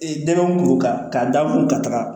Ee dɛmɛ kuru kan k'a da mun kun ka taga